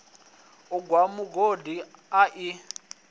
u gwa mugodi a i